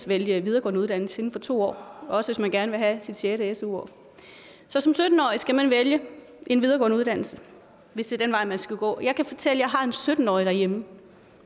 vælge videregående uddannelse inden for to år også hvis man gerne vil have sit sjette su år så som sytten årige skal man vælge en videregående uddannelse hvis det er den vej man skal gå jeg kan fortælle har en sytten årig derhjemme